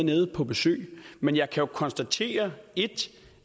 nede på besøg men jeg kan jo konstatere